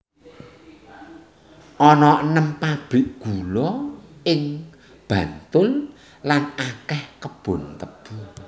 Ana enem pabrik gula ing Bantul lan akèh kebon tebu